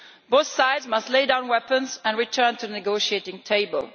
Both sides must lay down weapons and return to the negotiating table.